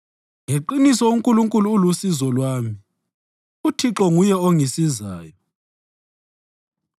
Ngeqiniso uNkulunkulu ulusizo lwami; uThixo nguye ongisizayo.